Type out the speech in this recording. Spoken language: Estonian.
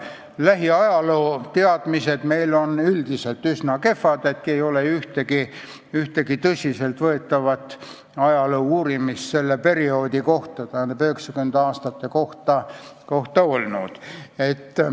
Lähiajalooteadmised on meil üldiselt üsna kehvad, ei ole ju ühtegi tõsiselt võetavat ajaloouurimust selle perioodi, üheksakümnendate aastate kohta olnud.